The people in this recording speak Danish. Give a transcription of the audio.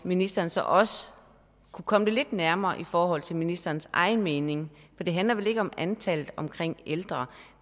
ministeren så også kunne komme det lidt nærmere i forhold til ministerens egen mening for det handler vel ikke om antallet af ældre